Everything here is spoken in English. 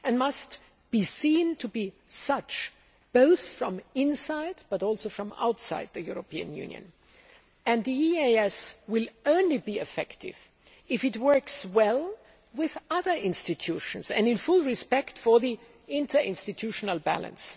It must also be seen to be such, both from inside and from outside the European Union, and the EEAS will only be effective if it works well with other institutions and fully respects the interinstitutional balance.